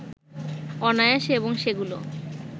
অনায়াসে এবং সেগুলোও